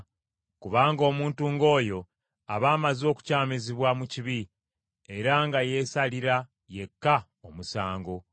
kubanga omuntu ng’oyo aba amaze okukyamizibwa mu kibi, era nga yeesalira yekka omusango.